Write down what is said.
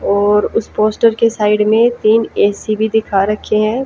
और उसे पोस्टर के साइड में तीन ऐ_सी भी दिखा रखे हैं।